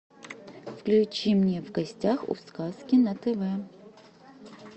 включи мне в гостях у сказки на тв